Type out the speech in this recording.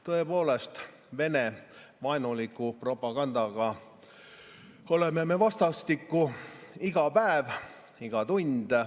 Tõepoolest, Vene vaenuliku propagandaga oleme me vastastikku iga päev, iga tund.